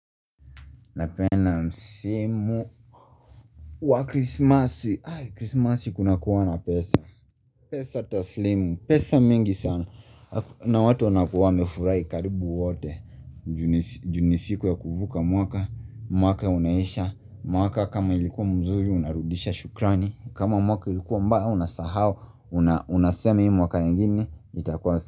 Napenda msimu wa krismasi, krismasi kuna kuwanga na pesa, pesa taslimu, pesa mingi sana na watu wanakuwa wamefurai karibu wote juu n isiku ya kuvuka mwaka mwaka unaisha mwaka kama ilikuwa mzuri unarudisha shukrani kama mwaka ilikuwa mbaya unasahau Unasema hii mwaka ingine itakuwa.